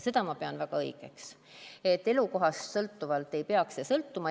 Seda ma pean väga õigeks, et elukohast ei peaks see sõltuma.